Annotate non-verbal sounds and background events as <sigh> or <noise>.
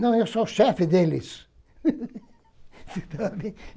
Não, eu sou o chefe deles. <laughs>